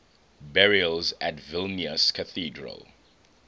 burials at vilnius cathedral